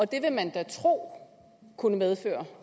det vil man da tro kunne medføre